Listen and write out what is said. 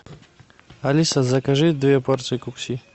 алиса закажи две порции кукси